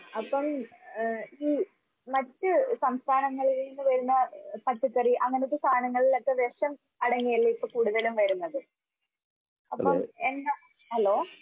ആഹ് അപ്പം ഏഹ് ഈ മറ്റ് സംസ്ഥാനങ്ങളിൽ നിന്ന് വരുന്ന പച്ചക്കറി അങ്ങനത്തെ സാധനങ്ങളിലൊക്കെ വിഷം അടങ്ങിയല്ലേ ഇപ്പെ കൂടുതലും വരുന്നത്? അപ്പൊ എന്താ ഹലോ